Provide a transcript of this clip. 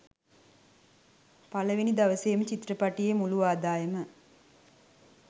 පළවෙනි දවසෙම චිත්‍රපටියේ මුලු ආදායම